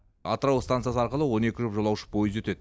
атырау стансасы арқылы он екі жұп жолаушы пойызы өтеді